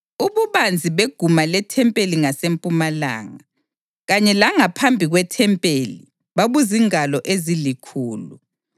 Ububanzi beguma lethempeli ngasempumalanga, kanye langaphambi kwethempeli, babuzingalo ezilikhulu.